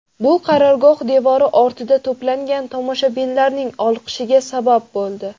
Bu qarorgoh devori ortida to‘plangan tomoshabinlarning olqishiga sabab bo‘ldi.